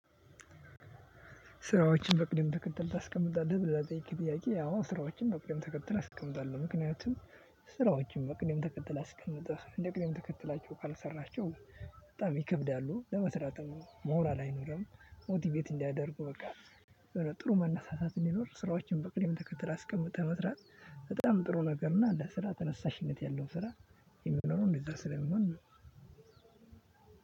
ስራዎችን በቅድም ትከተል ታስቀምጣለህ ብለህ ለጠየከኝ ጥያቄ? አዎ ስራዎችን በቅድም ትከተል አስቀምጣለሁ ምክንያቱም ስራዎችን በቅድም ተከተል አስቀምጠህ እንደ ቅድም ተከትላቸው ካልሰራሐቸው። በጣም ይከብዳሉ ለመስራትም ሞራል አይኖርም ሞቲቬት እንዳያደርጉ በቃ። ጥሩ መነሳሳት እንዲኖር ስራዎችን በቅደም ተከተል አስቀምጠህ መስራት በጣም ጥሩ ነገር እና ለስራ ተነሳሽነት ያለው ስራ የሚኖረው እንደዛ ስለሚሆን ነው።